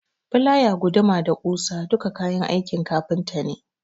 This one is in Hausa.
Filaya, guduma da ɓusa duka kayan aikin kafinta ne.